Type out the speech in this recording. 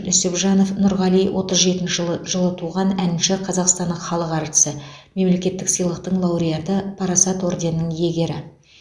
нүсіпжанов нұрғали отыз жетінші жылы жылы туған әнші қазақстанның халық әртісі мемлекеттік сыйлықтың лауреаты парасат орденінің иегері